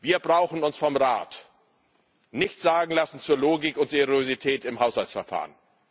Wir brauchen uns vom Rat nichts sagen zu lassen zu Logik und Seriosität im Haushaltsverfahren.